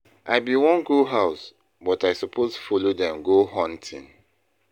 I bin wan go house but I suppose follow dem go hunting.: